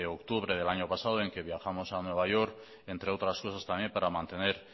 octubre del año pasado en que viajamos a nueva york entre otras cosas también para mantener